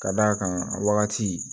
Ka d'a kan a wagati